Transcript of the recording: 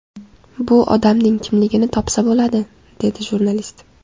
Bu odamning kimligini topsa bo‘ladi”, dedi jurnalist.